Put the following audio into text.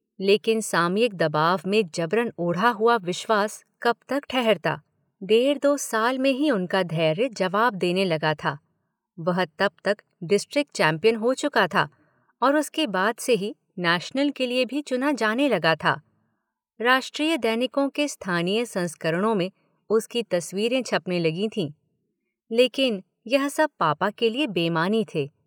लेकिन सामयिक दबाव में जबरन ओढ़ा हुआ विश्वास कब तक ठहरता, डेढ़ दो साल में ही उनका धैर्य जवाब देने लगा था, वह तब तक डिस्ट्रिक्ट चैंपियन हो चुका था और उसके बाद से ही नैशनल के लिए चुना जाने लगा था, राष्ट्रीय दैनिकों के स्थानीय संस्करणों में उसकी तस्वीरें छपने लगी थीं, लेकिन यह सब पापा के लिए बेमानी थे?